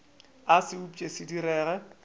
a se upše se direge